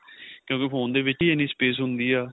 ਕਿਉਂਕਿ phone ਦੇ ਵਿੱਚ ਹੀ ਇੰਨੀ space ਹੁੰਦੀ ਏ